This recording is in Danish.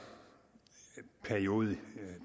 periodisering